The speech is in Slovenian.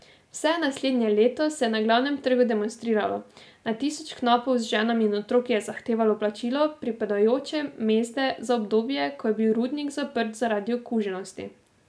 Vse naslednje leto se je na Glavnem trgu demonstriralo, na tisoče knapov z ženami in otroki je zahtevalo plačilo pripadajoče mezde za obdobje, ko je bil rudnik zaprt zaradi okuženosti.